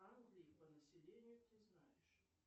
по населению ты знаешь